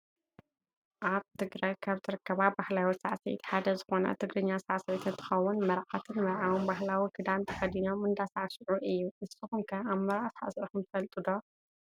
ኣብ ትግራይ ካብ ዝርከባ ባህላዊ ሳዕስዒት ሓደ ዝኮነ ትግርኛ ሳዕስዒት እንትከውን መርዓትን መርዓውን ባህላዊ ክዳን ተከዲኖም እንዳሳዕስዑ እዩ። ንስኩም ከ ኣብ መርዓ ሳዕሲዕኩም ትፈልጡ ዶ ?